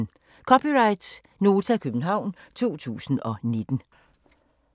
(c) Nota, København 2019